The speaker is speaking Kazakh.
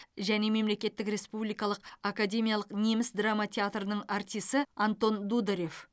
және мемлекеттік республикалық академиялық неміс драма театрының артисы антон дударев